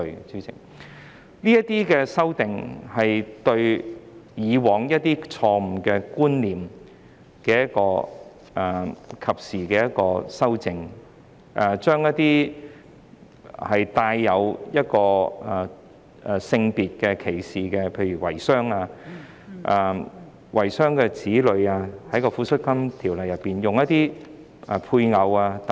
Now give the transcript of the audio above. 這些修訂能對以往錯誤的觀念作出及時的修正，將一些帶有性別歧視的用詞，例如遺孀、遺孀的子女，在《尚存配偶及子女撫恤金條例》中用一些配偶等。